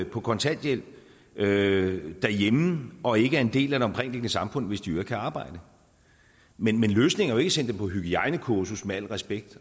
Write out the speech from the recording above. på kontanthjælp derhjemme og ikke er en del af det omkringliggende samfund hvis de i øvrigt kan arbejde men løsningen er jo sende dem på hygiejnekursus med al respekt